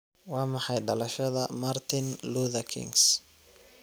waa maxay dhalashada Martin Luther Kings